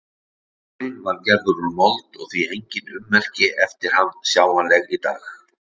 Múrinn var gerður úr mold og því enginn ummerki eftir hann sjáanleg í dag.